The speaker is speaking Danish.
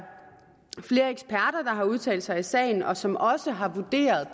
har udtalt sig i sagen og som også har vurderet